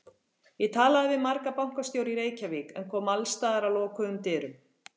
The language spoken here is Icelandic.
Ég talaði við marga bankastjóra í Reykjavík en kom alls staðar að lokuðum dyrum.